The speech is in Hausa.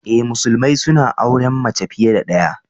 Eh, musulmai suna auren mace fiye da ɗaya.